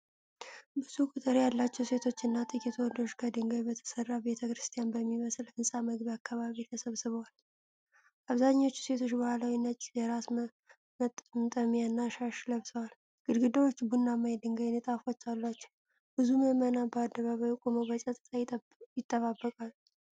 ብዙ ቁጥር ያላቸው ሴቶችና ጥቂት ወንዶች ከድንጋይ በተሠራ ቤተ ክርስቲያን በሚመስል ሕንፃ መግቢያ አካባቢ ተሰብስበዋል። አብዛኞቹ ሴቶች ባህላዊ ነጭ የራስ መጠምጠሚያና ሻሽ ለብሰዋል። ግድግዳዎቹ ቡናማ የድንጋይ ንጣፎች አሏቸው። ብዙ ምዕመናን በአደባባዩ ቆመው በጸጥታ ይጠባበቃሉ።